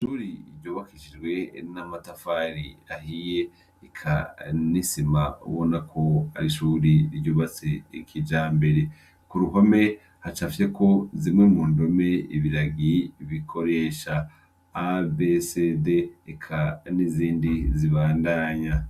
Icuri iryobakishijwe na motafari ahiye ekanisima ubona ko ari ishuri ryubatse ekija mbere ku ruhome hacafye ko zimwe mu ndome ibiragi bikoresha abesede eka n'izindi zibandanya.